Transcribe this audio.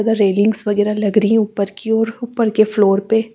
उधर रेलिंग्स वगैरह लग रही हैं ऊपर की ओर ऊपर के फ्लोर पे।